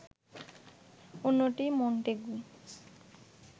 অন্যটি মন্টেগু